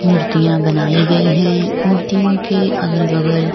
मुर्तियां बनाई गईं है मुर्तियों के अगल-बगल --